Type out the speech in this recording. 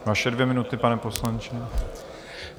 Vaše dvě minuty, pane poslanče.